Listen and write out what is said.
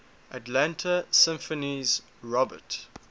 atlanta symphony's robert